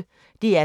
DR P1